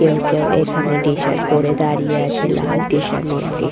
কেউ কেউ এখানে টি -শার্ট পরে দাঁড়িয়ে আছে লাল টি-শার্ট নীল টি--